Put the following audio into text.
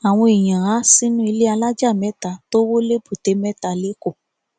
àwọn èèyàn há sínú ilé alájà mẹta tó wọ lẹbùtémẹta lẹkọọ